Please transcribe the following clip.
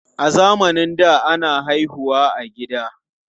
A zamanin da, ana haihu wa a gida.